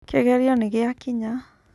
Kĩgerio nĩgĩakinya.